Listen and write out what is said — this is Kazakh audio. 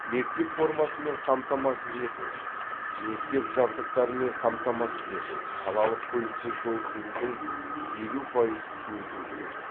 мектеп формасымен қамтамасыз ету мектеп жабдықтарымен қамтамасыз ету қалалық көлікте жол жүрудің елу пайыз өтеу кіреді